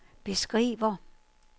beskriver